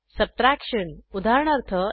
subtraction उदाहरणार्थ